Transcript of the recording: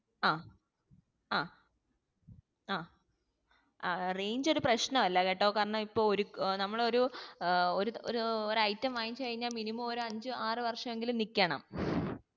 ആ ആഹ് ആഹ് range ഒരു പ്രശ്നം അല്ല കേട്ടോ കാരണം ഇപ്പൊ ഒരു നമ്മൾ ഒരു ഒരു item വാങ്ങിച്ചു കഴിഞ്ഞാൽ minimum ഒരു അഞ്ച് ആറു വര്ഷെങ്കിലും നിക്കണം